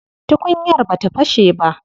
Tukunyar bata fashe ba.